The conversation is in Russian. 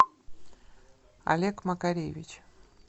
олег макаревич